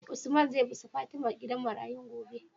Usman zai bi su fatima gidan marayun gobe?